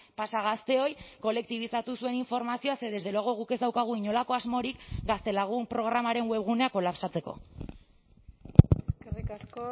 pasa gazteoi kolektibizatu zuen informazioa ze desde luego guk ez daukagu inolako asmorik gaztelagun programaren webguneak kolapsatzeko eskerrik asko